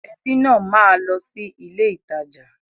Ẹbí náà máa lọ sí ilé ìtajà.